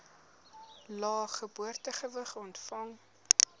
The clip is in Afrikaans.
lae geboortegewig ontvang